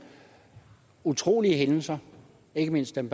utrolige hændelser ikke mindst dem